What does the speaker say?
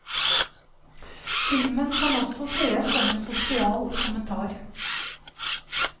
Filmen kan også sees som en sosial kommentar.